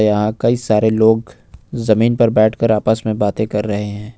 यहां कई सारे लोग जमीन पर बैठकर आपस में बातें कर रहे हैं।